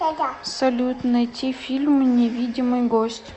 салют найти фильм невидимый гость